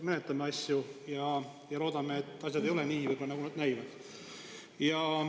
Menetleme asju ja loodame, et asjad ei ole nii, nagu nad näivad.